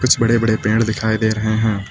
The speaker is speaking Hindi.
कुछ बड़े बड़े पेड़ दिखाई दे रहे हैं।